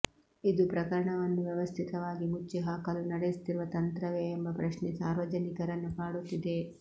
ಇದು ಪ್ರಕರಣವನ್ನು ವ್ಯವಸ್ಥಿತವಾಗಿ ಮುಚ್ಚಿಹಾಕಲು ನಡೆಸುತ್ತಿರುವ ತಂತ್ರವೇ ಎಂಬ ಪ್ರಶ್ನೆ ಸಾರ್ವಜನಿಕರನ್ನು ಕಾಡುತ್ತಿದೆ